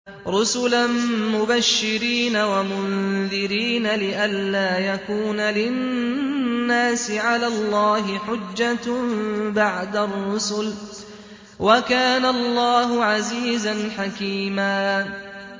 رُّسُلًا مُّبَشِّرِينَ وَمُنذِرِينَ لِئَلَّا يَكُونَ لِلنَّاسِ عَلَى اللَّهِ حُجَّةٌ بَعْدَ الرُّسُلِ ۚ وَكَانَ اللَّهُ عَزِيزًا حَكِيمًا